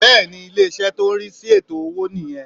Bẹ́ẹ̀ni Ilè ìṣẹ́ tó n rí sí ètò owó nì yan